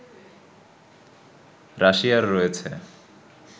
রাশিয়ার রয়েছে